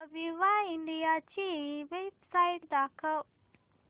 Aviva India ची website दाखवा